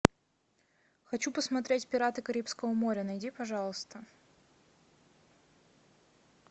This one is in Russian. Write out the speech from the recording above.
хочу посмотреть пираты карибского моря найди пожалуйста